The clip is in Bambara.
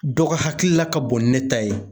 Dɔ ga hakilila ka bon ni ne ta ye